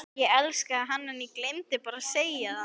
Ég elskaði hann en ég gleymdi bara að segja það.